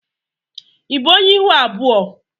i bụ ọnye ịhụ abụọ?